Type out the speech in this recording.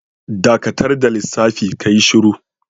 Dakatar da lissafi, ka yi shuru!